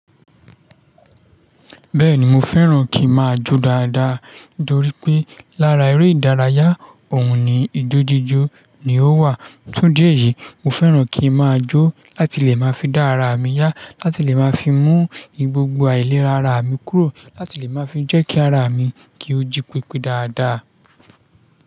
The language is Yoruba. Bẹ́ẹ̀ni mo fẹ́ràn kí máa jó dáadáa nítorí pé lára eré ìdárayá òun ni ijó jíjò ni ó wà. Fun idi éyìí mo fẹ́ràn kí máa jó láti lè máa fi dá ara mi yá, láti lè máa fi mú gbogbo àìlera ara mi kúrò, láti lè máa fi jẹ́ kí ara mi kí ó jí pípé dáadáa.